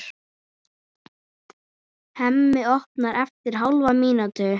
Hemmi opnar eftir hálfa mínútu.